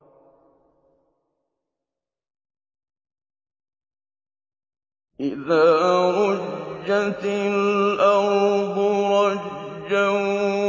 إِذَا رُجَّتِ الْأَرْضُ رَجًّا